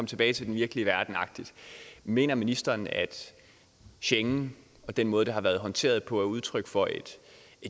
tilbage til den virkelige verden agtigt mener ministeren at schengen og den måde det har været håndteret på er udtryk for et